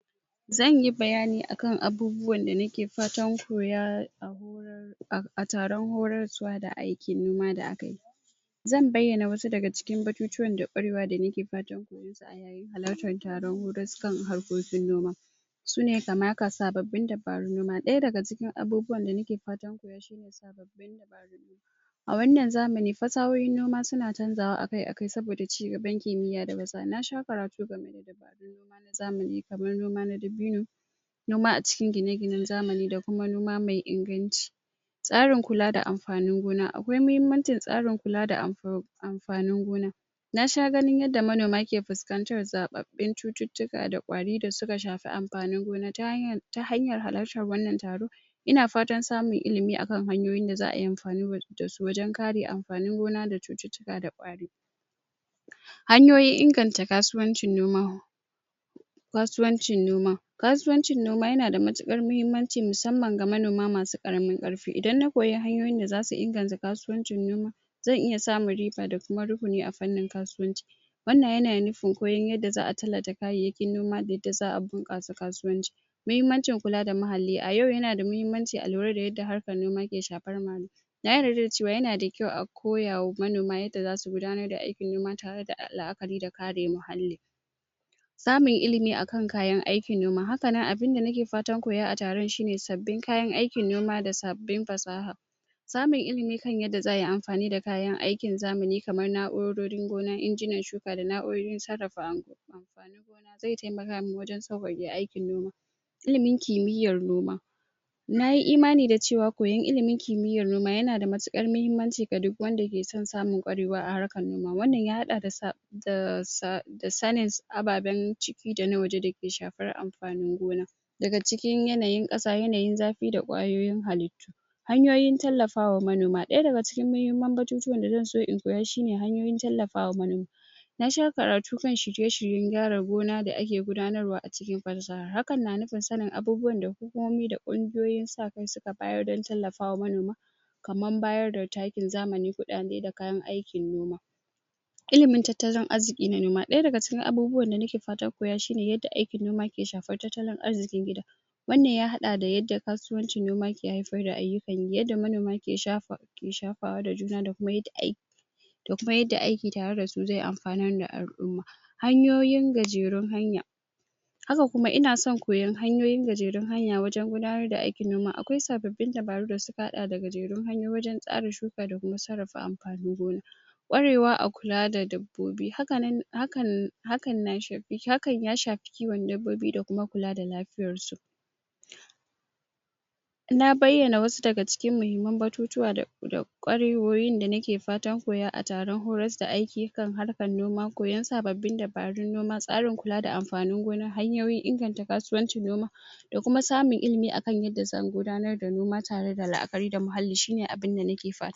Zanyi bayani akan abubuwan da nake fatan koya a taron horar zuwa da aikin nema da akeyi zan bayane wasu daga cikin batutuwan da kwarewa danake fatan koyon su a yayin halartan taro wurin su kan harkokin gona sune kaman haka sabbabin dabaru noma daya daga cikin abubuwan da nake fata koya, shine sabbabin dabaru a wannan zamani fassahohi noma suna canjawa akai-akai saboda cigaban kimiya da fassaha nasha karatu game da dabarun noma na zamani kamar noma dabino noma a cikin gine-gine na zamani da kuma noma mai inganci tsarin kula da amfanin gona, a gurin muhimmancin tsarin kula da amfanin gona nasha ganin yadda manoma ke fuskantar zaɓaɓin cuttutuka da ƙwari da suka shafi amfanin gona ta hanyar halarta wannan taro ina fatan samun ilimi akan hanyoyi da za'ayi amfani da su wajan kare amfanini gona da cuttutuka da ƙwari hanyoyin inganta kasuwanci noma kasuwancin noma kasuwancin noma yanada mutukar muhimmanci mussamman ga manoma masu karamin ƙarfi, idan na koya hanyoyin da zasu inganta kasuwancin noma zan iya samun riba da kuma ruhuni a fannin kasuwanci zan iya samun riba da kuma ruhuni a fannin kasuwanci wannan yana nufin koyon yadda za'a tallata kayyayakin noma da yadda za'a bunƙasa kauwanci muhimmanci kulla da muhalli, a yau yanada muhimmanci a lura da yadda harkar noma ke shafan muhalli, na yarda da cewa yana da kyau a koyawa manoma yadda zasu gudanar da aikin noma tare da la'akari da kare muhalli za muyi ilimi akan kayan aikin noma, hakanan abun da nake fatan koya a taron shine sabin kayan aikin noma da sabbin fassaha samun ilimi kan yadda za'ayi amfani da kayan aikin zamani kamar naurorin gona, inginan shuka da naurorin sarrafa amfanin gona ze taimaka mani wajan sawaƙa aikin gona ilimin kimiyyar noma nayi imani da cewa koyar ilimin kimiyyar noma yana da mutukar muhimmanci ga duk wanda yakeson samun ƙwarewa a harkar noma wannan ya haɗa daa da sanin abbaben ciki dana waje dake shafar amfanin gona daga cikin yanayin ƙasa, yanayin zafi da ƙwayoyin hallitu hanyoyin tallafa wa manoma, ɗaya daga cikin batutuwan da nakeso in koya shine, hanyoyin tallafa wa manoma na sha karatu kan shirye-shiryen gyara gona da ake gudanarwa a cikin fassaha hakan na nufin sanin abunuwan da komai da ƙungiyoyi sa kai da suka bayar da tallafa wa manoma kamar bayar da takin zamani, kuɗade da kayan aikin noma ilimin tattalin arzikin noma, ɗaya daga cikin abubuwan da nake fatan koya shine yadda aikin noma ke shafan tattalin arzikin gida wannan ya haɗa da yadda kasuwancin noma ke haifar da ayyukan yi, yadda manoma ke shafa wa da juna da kuma aiki da kuma yadda aiki tare dasu zeyi amfani ga al'umma hanyoyin gajerun hanya haka kuma ina son koyan hanyoyin gajerun hanya wajan gudanar da aikin noma, akwai sabbobin dabaru da suka haɗa da gajerun hanyoyi wajan tsarin shuka da sarrafa amfanin gona ƙwarewa a kula da dabbobi, hakan ya shafi kiwon dabbobi da kuma kula da lafiyarsu na bayyana wasu daga cikin muhimmun batutuwa da ƙwarewowin da nake fatan koya a taron horas da aiki akan harkar noma, koyan sabbabin dabarun noma, tsarin kula da amfanin gona, hanyoyin inganta kasuwanci noma da kuma samun ilimi akan yadda zan gudanar da noma tare da la'akari da muhalli shine abin da nake fata.